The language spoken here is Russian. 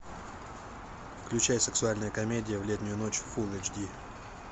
включай сексуальная комедия в летнюю ночь фулл эйч ди